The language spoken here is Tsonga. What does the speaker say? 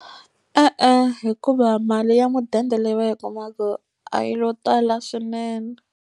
E-e, hikuva mali ya mudende leyi va yi kumaka a yi lo tala swinene.